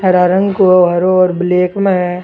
हरा रंग को हरा और ब्लैक में है।